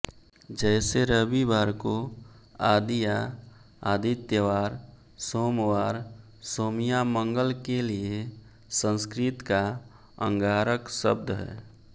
जैसे रविवार को आदिया आदित्यवार सोमवार सोमिया मंगल के लिये संस्कृत का अंगारक शब्द है